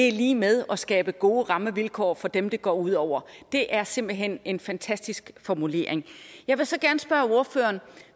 er lig med at skabe gode rammevilkår for dem det går ud over det er simpelt hen en fantastisk formulering jeg vil så gerne spørge ordføreren